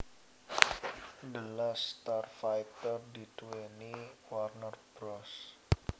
The Last Starfighter diduwèni Warner Bros